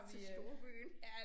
Til storbyen